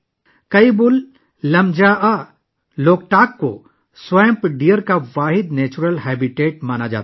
کائبول لامجا، لوکتک کو دلدلی ہرن کا واحد قدرتی مسکن سمجھا جاتا ہے